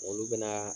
Olu bɛna